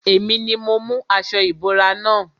Èmi ni mo mú aṣo ìbora na.